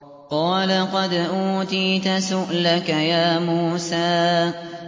قَالَ قَدْ أُوتِيتَ سُؤْلَكَ يَا مُوسَىٰ